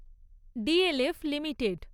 DLF limited